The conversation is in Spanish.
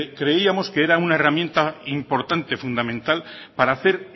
creíamos que era una herramienta importante fundamental para hacer